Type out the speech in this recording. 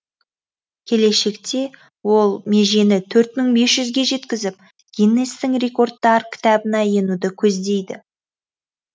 келешекте ол межені төрт мың бес жүзге жеткізіп гиннестің рекордтар кітабына енуді көздейді